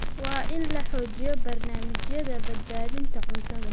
Waa in la xoojiyaa barnaamijyada badbaadada cuntada.